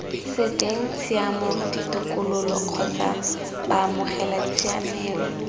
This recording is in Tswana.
seng tshiamo ditokololo kgotsa baamogelatshiamelo